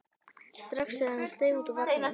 strax þegar hann steig út úr vagninum.